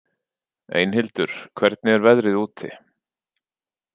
Einhildur, hvernig er veðrið úti?